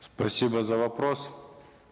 спасибо за вопрос